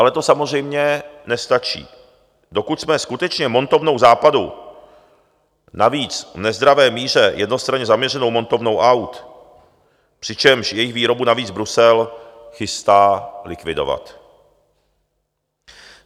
Ale to samozřejmě nestačí, dokud jsme skutečně montovnou Západu, navíc v nezdravé míře jednostranně zaměřenou montovnou aut, přičemž jejich výrobu navíc Brusel chystá likvidovat.